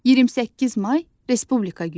28 may Respublika günüdür.